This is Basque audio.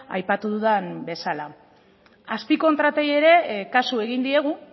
aipatu dudan bezala azpikontratei ere kasu egin diegu